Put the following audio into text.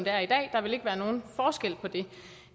er i dag der vil ikke være nogen forskel på det